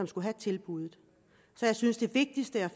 skulle have tilbuddet så jeg synes det vigtigste